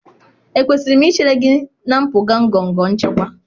Ekwesịrị m ichere gị na mpụga ngọngọ nchịkwa?